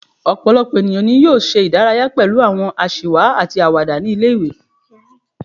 Ọ̀pọ̀lọpọ̀ ènìyàn ni yóò ṣe ìdárayá pẹlu àwọn aṣiwa àti àwàdà ní ilé-ìwé